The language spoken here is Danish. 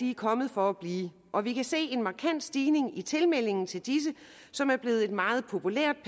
er kommet for blive og vi kan se en markant stigning i tilmeldingen til disse som er blevet et meget populært